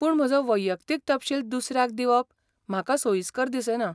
पूण म्हजो वैयक्तीक तपशील दुसऱ्याक दिवप म्हाका सोयिस्कर दिसना.